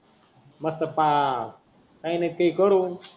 काही न काही करू.